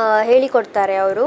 ಆ ಹೇಳಿ ಕೊಡ್ತಾರೆ ಅವ್ರು.